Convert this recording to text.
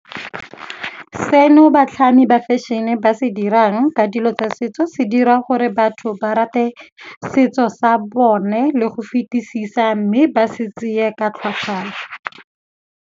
Seno batlhami ba fashion-e ba se dirang ka dilo tsa setso se dira gore batho ba rate setso sa bone le go fetisisa, mme ba se tseye ka tlhoafalo.